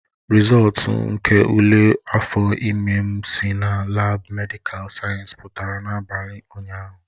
Rịzọltu nke ule afọ ime m si na laabu medịkal sayensị pụtara n'abalị ụnyahụ